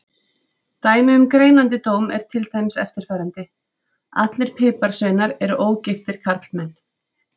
Dæmi um greinandi dóm er til dæmis eftirfarandi: Allir piparsveinar eru ógiftir karlmenn.